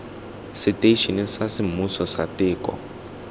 seteišene sa semmuso sa teko